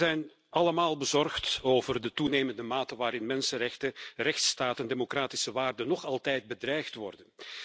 Wij zijn allemaal bezorgd over de toenemende mate waarin mensenrechten, rechtsstaat en democratische waarden nog altijd bedreigd worden.